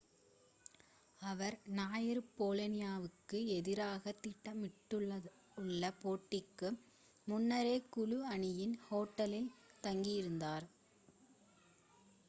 அவர் ஞாயிறு போலோனியாவிகு எதிராக திட்டமிடப்பட்டுள்ள போட்டிக்கு முன்னரே குழு அணியின் ஹோட்டலில் தங்கியிருந்தார்